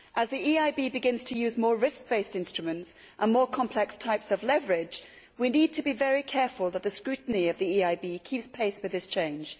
As the EIB begins to use more risk based instruments and more complex types of leverage, we need to be very careful that the scrutiny of the EIB keeps pace with this change.